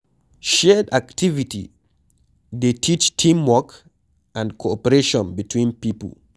Shared activity dey teach team work and cooperation between pipo